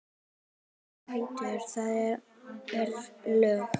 Settur réttur, það er lög.